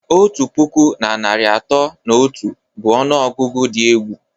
Otu puku na narị atọ na otu bụ ọnụọgụgụ dị egwu